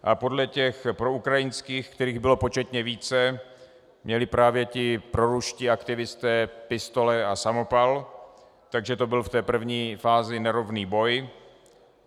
A podle těch proukrajinských, kterých bylo početně více, měli právě ti proruští aktivisté pistole a samopal, takže to byl v té první fázi nerovný boj.